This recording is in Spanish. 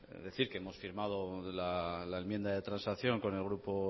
voy a decir que hemos firmado la enmienda de transacción con